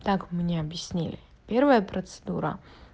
так мне объяснили первая процедура